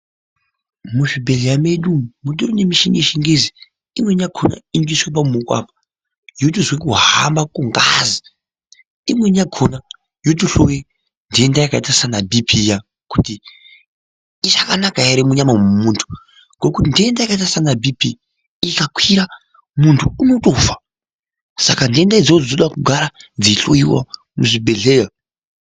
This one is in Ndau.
Muzvibhedhlera medu umu, mutori nemichhini yezvingezi, imweni yakhona inotoiswe pamuwoko apa, yotozwe kuhamba kongazi, imweni yakhona yotohloya nthenda yakaita saana bhii-phii iya, kuti ichakanaka ere munyama mwemunthu ,ngekuti nthenda yakaita saana bhii-phii ,ikatokwira munthu unotofa ,saka nthenda idzodzo dzinoda kugara munthu eihloiwa kuzvibhedhlera.